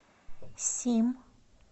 сим